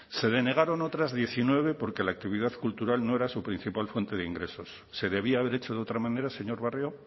se denegaron otras diecinueve porque la actividad cultural no era su principal fuente de ingresos se debía haber hecho de otra manera señor barrio